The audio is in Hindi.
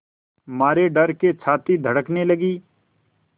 मारे डर के छाती धड़कने लगी